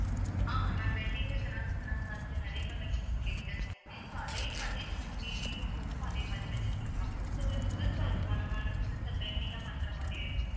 ஆமா ma'am wedding உ சொன்னா~ சொன்னமாதிரி உங்க கிட்ட சொன்னேன் so அதே மாதிரியும் வந்து baby க்கு photo அதே மாதிரியும் வச்சு கொடுக்கலாம் so இது புதுசா இது பண்ணோமா வந்து புதுசா trending ஆ பண்ற மாதிரியே இருக்கும்